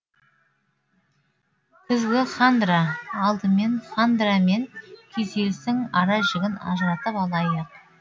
күзгі хандра алдымен хандра мен күйзелістің ара жігін ажыратып алайық